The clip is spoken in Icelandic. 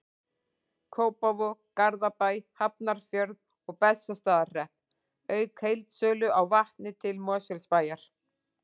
Kópavog, Garðabæ, Hafnarfjörð og Bessastaðahrepp, auk heildsölu á vatni til Mosfellsbæjar.